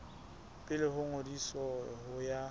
pele ho ngodiso ho ya